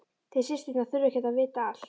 Þið systurnar þurfið ekki að vita allt.